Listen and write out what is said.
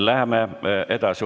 Läheme edasi.